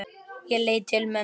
Ég leit til mömmu.